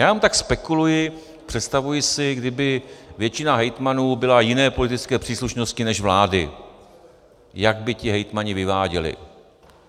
Já jenom tak spekuluji, představuji si, kdyby většina hejtmanů byla jiné politické příslušnosti než vlády, jak by ti hejtmani vyváděli.